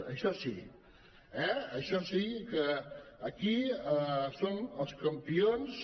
això sí eh en això sí que aquí són els campions